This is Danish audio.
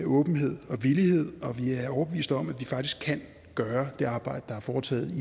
åbenhed og villighed og vi er overbeviste om at vi faktisk kan gøre det arbejde der er foretaget i